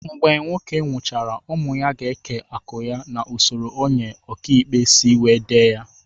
Mgbe nwoke nwuchara ụmụ ya gá eke akụ ya na usoro onye oka ikpe si wee dee ya